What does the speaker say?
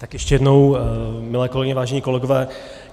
Tak ještě jednou, milé kolegyně, vážení kolegové.